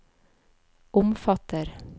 omfatter